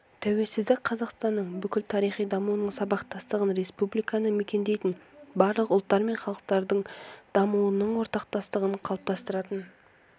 тәуелсіздік қазақстанның бүкіл тарихи дамуының сабақтастығын республиканы мекендейтін барлық ұлттар мен халықтардың дамуының ортақтастығын қалыптастыратын